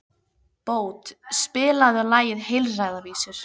Bót, spilaðu lagið „Heilræðavísur“.